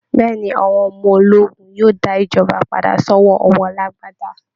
Bẹ́ẹ̀ ni, àwọn ọmọ ológun yóò dá ìjọba padà sọ́wọ́ àwọn alágbádá